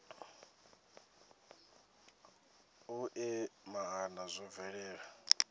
u ea maana zwo bvelela